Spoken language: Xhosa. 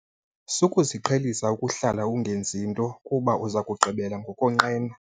Sukuziqhelisa ukuhlala ungenzi nto kuba uza kugqibela ngokonqena.